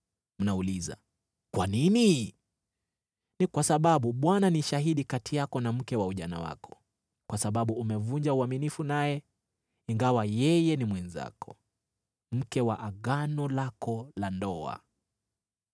Mnauliza, “Kwa nini?” Ni kwa sababu Bwana ni shahidi kati yako na mke wa ujana wako, kwa sababu umevunja uaminifu naye, ingawa yeye ni mwenzako, mke wa agano lako la ndoa.